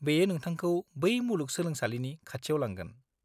बेयो नोंथांखौ बे मुलुग सोलोंसालिनि खाथियाव लांगोन।